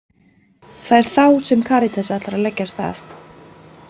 Það er þá sem Karítas ætlar að leggja af stað.